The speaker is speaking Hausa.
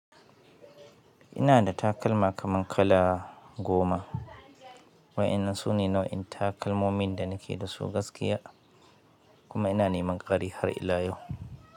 Inada takalma kamar kala goma, wa'inda sune nau'in takalmomin da nake dasu gaskiya. Kuma ina neman ƙari har ila yau.